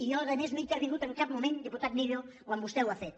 i jo a més no he in·tervingut en cap moment diputat millo quan vostè ho ha fet